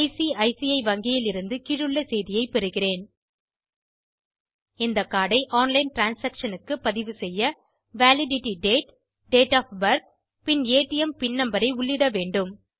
ICC வங்கியிலிருந்து கீழுள்ள செய்தியை பெறுகிறேன் இந்த கார்ட் ஐ ஆன்லைன் டிரான்சாக்ஷன் க்குப் பதிவு செய்ய validity date date of birth PIN ATM PIN number ஐ உள்ளிடவேண்டும்